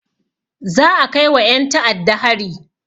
Za a kaiwa ƴen ta'adda hari.